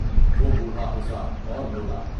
وہ بوڑھا ہنسا اور بولا۔